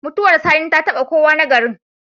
Mutuwar sani ta taba kowa na garin